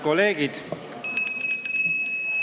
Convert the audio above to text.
Kolleegid!